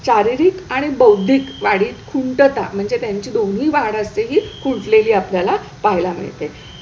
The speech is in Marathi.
शारीरिक आणि बौद्धिक वाढीत खुंटता म्हणजे त्यांची दोन्ही वाढ असलेली खुंटलेली आपल्याला पहायला मिळते.